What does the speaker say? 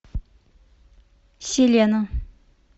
селена